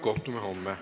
Kohtume homme.